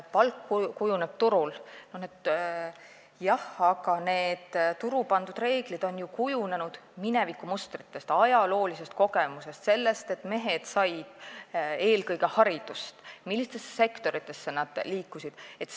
Palk kujuneb turul, jah, aga need turul paika pandud reeglid on ju kujunenud mineviku mustritest, ajaloolise kogemuse põhjal, selle põhjal, et eelkõige mehed said varem haridust, ja selle põhjal, millistesse sektoritesse nad liikusid.